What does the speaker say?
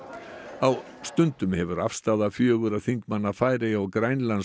á stundum hefur afstaða fjögurra þingmanna Færeyja og Grænlands